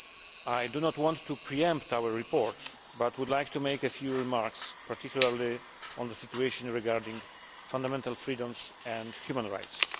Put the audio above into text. I do not want to pre empt our report but would like to make a few remarks, particularly on the situation regarding fundamental freedoms and human rights.